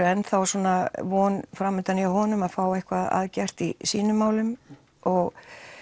enn þá svona von framundan hjá honum að fá eitthvað að gert í sínum málum og